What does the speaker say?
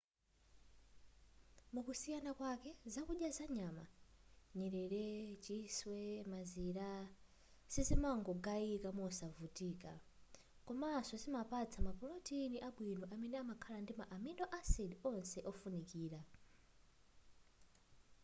mukusiyana kwake zakudya za nyama nyerere chiswe mazira sizimangogayika mosavuta komanso zimapatsa mapulotini abwino amene amakhala ndi ma amino acid onse ofunikira